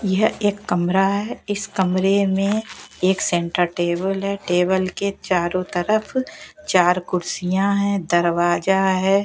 यह एक कमरा है इस कमरे में एक सेंटर टेबल है टेबल के चारों तरफ चार कुर्सियां हैं दरवाजा है।